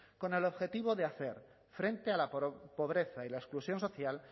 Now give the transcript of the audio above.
con el objetivo de hacer frente a la pobreza y la exclusión social